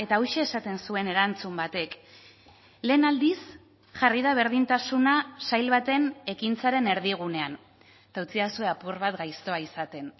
hauxe esaten zuen erantzun batek lehen aldiz jarri da berdintasuna sail baten ekintzaren erdigunean eta utzidazue apur bat gaiztoa izaten